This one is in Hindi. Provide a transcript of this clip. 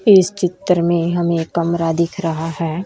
इस चित्र में हमें कमरा दिख रहा है।